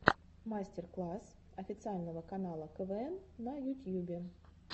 мастер класс официального канала квн на ютьюбе